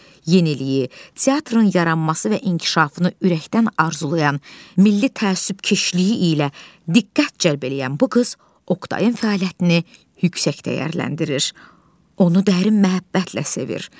Yeniliyi, teatrın yaranması və inkişafını ürəkdən arzulayan, milli təəssübkeşliyi ilə diqqət cəlb eləyən bu qız Oqtayın fəaliyyətini yüksək dəyərləndirir, onu dərin məhəbbətlə sevir.